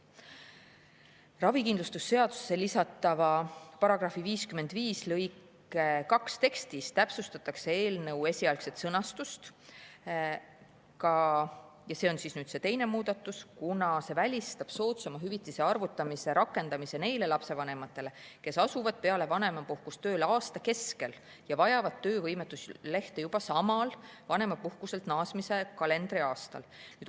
Ravikindlustuse seadusesse lisatava § 55 lõike 2 tekstis täpsustatakse eelnõu esialgset sõnastust – see on teine muudatus –, kuna see välistab soodsama hüvitise arvutamise rakendamise neile lapsevanematele, kes asuvad peale vanemapuhkust tööle aasta keskel ja vajavad töövõimetuslehte juba samal, vanemapuhkuselt naasmise kalendriaastal.